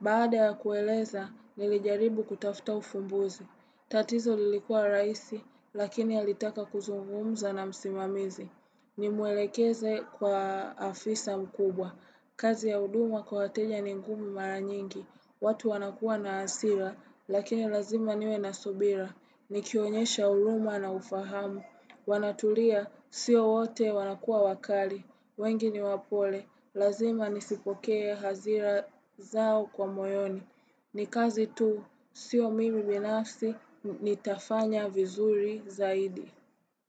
Baada ya kueleza, nilijaribu kutafuta ufumbuzi. Tatizo lilikuwa rahisi, lakini alitaka kuzungumza na msimamizi. Nimuelekeze kwa afisa mkubwa. Kazi ya huduma kwa wateja ni ngumi mara nyingi. Watu wanakua na hasira, lakini lazima niwe na subira. Nikionyesha huruma na ufahamu. Wanatulia, sio wote wanakua wakali. Wengi ni wapole. Lazima nizipokee hasira zao kwa moyoni. Ni kazi tu, sio mimi binafsi, nitafanya vizuri zaidi.